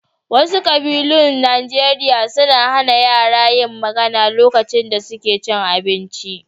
Wasu ƙabilun Najeriya suna hana yara yin magana lokacin da suke cin abinci.